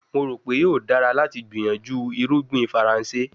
Mo ro pe yoo dara lati gbiyanju irugbin Faranse